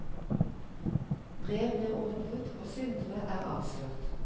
Brev blir åpnet og syndere er avslørt.